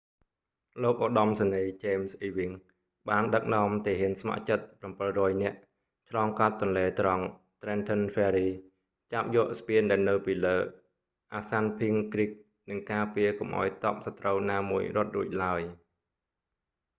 លោកឧត្តមសេនីយ៍ james ewing បានដឹកនាំទាហានស្ម័គ្រចិត្ត700នាក់ឆ្លងកាត់ទន្លេត្រង់ trenton ferry ចាប់យកស្ពានដែលនៅពីលើ assunpink creek និងការពារកុំឱ្យទ័ពសត្រូវណាមួយរត់រួចឡើយ